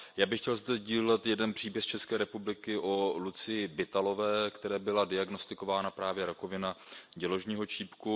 Já bych chtěl zde sdílet jeden příběh z České republiky o Lucii Bittalové, které byla diagnostikována právě rakovina děložního čípku.